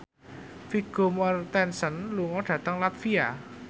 Vigo Mortensen lunga dhateng latvia